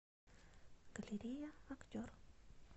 галерея актер